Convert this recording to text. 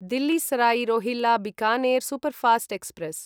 Delhi Sarai Rohilla Bikaner superfast express